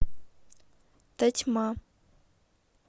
тотьма